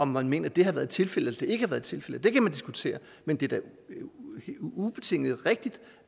man mener at det har været tilfældet ikke har været tilfældet kan man diskutere men det er da ubetinget rigtigt